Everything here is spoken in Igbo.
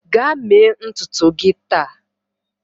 Gaa mee ntutu gị taa!